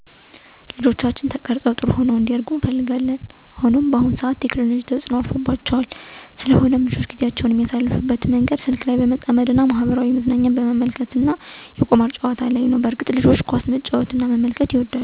ልጆቻችን ተቀርፀው ጥሩሆነው እንዲያድጉ እንፈልጋለን። ሆኖም ግን በአሁኑ ሰዓት ቴክኖሎጂ ማህበራዊ ሚዲያ ተጽኖ አርፎባቸዋል። ስለሆነም ልጆች ጊዜአቸውን የሚያሳልፍበት መንገድ ስልክ ላይ በመጠመድ መገናኛ ዘዴወችን በመጠቀም ማህበራዊ መዝናኛ በመመልከት ነው። እንዲሁም እንደ ወረርሽኝ ሆኖ የመጣው የቁማር ጨዋታ ነው በዚህም የተነሳ ልጆች አልባሌ ቦታ አንዲውሉ እና ጊዜአቸውን ባልተገባ ቦታ እንዲያባክኑ አድርጓቸዋል። እርግጥ ነዉ ልጆች ኳስ መመልከትና መጫወት በጣም ይወዳሉ ጊዜአቸውን በዚሁ መንገድ በአያሌው ያሳልፍሉ። በተመሳሳይ መልኩም ጌም በመጨዋት እየተዝናኑ ጊዜአቸውን ያሳልፍሉ።